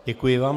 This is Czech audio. Děkuji vám.